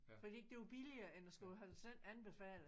Fordi det var billigere end at skulle have den sendt anbefalet